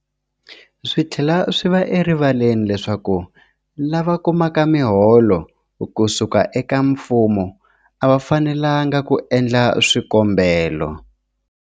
Swi tlhela swi va erivaleni leswaku lava kumaka miholo ku suka eka mfumo a va fanelanga ku endla swikombelo.